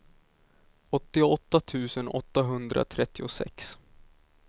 åttioåtta tusen åttahundratrettiosex